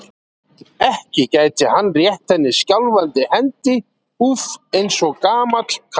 Ekki gæti hann rétt henni skjálfandi hendi, úff, eins og gamall karl.